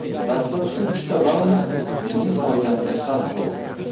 Dastlabki uchta raund mening foydamga hal bo‘ldi.